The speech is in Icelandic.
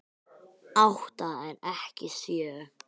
Átta en ekki sjö